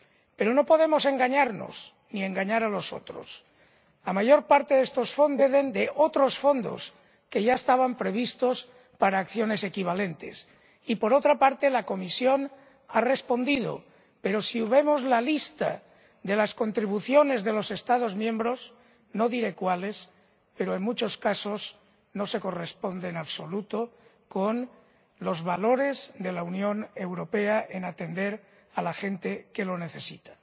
Pero no podemos engañarnos ni engañar a los otros la mayor parte de estos fondos proceden de otros fondos que ya estaban previstos para acciones equivalentes. Por otra parte, la Comisión ha respondido pero, si vemos la lista de las contribuciones de los Estados miembros ―no diré cuáles―, en muchos casos no se corresponden en absoluto con los valores de la Unión Europea, que abogan por atender a la gente que lo necesita.